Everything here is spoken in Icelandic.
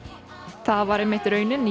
það var einmitt raunin í